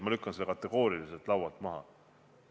Ma lükkan selle kategooriliselt laualt maha!